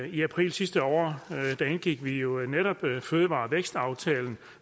i april sidste år indgik vi jo netop fødevare og vækstaftalen